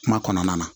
Kuma kɔnɔna na